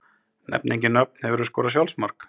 Nefni engin nöfn Hefurðu skorað sjálfsmark?